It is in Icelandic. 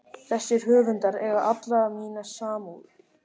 Þessir höfundar eiga alla mína samúð.